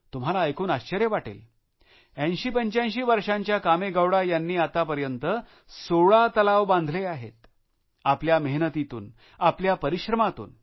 तुम्हाला ऐकून आश्चर्य वाटेल 8085 वर्षांच्या कामेगौडा यांनी आतापर्यंत 16 तलाव बांधले आहेत आपल्या मेहनतीतून आपल्या परिश्रमातून